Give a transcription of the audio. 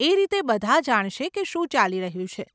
એ રીતે બધાં જાણશે કે શું ચાલી રહ્યું છે.